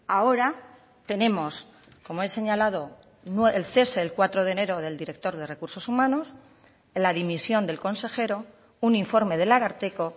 ahora tenemos como he señalado el cese el cuatro de enero del director de recursos humanos la dimisión del consejero un informe del ararteko